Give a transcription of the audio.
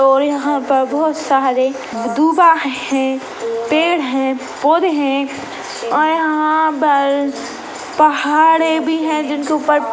और यहाँ पर बहोत सारे दूबा है पेड़ है पौधे है और यहाँ पर पहाड़े भी है जिनके ऊपर--